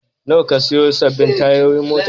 Nawa ka sayo sabbin tayoyin motarka?